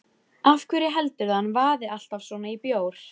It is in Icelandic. Af hverju heldurðu að hann vaði alltaf svona í bjór?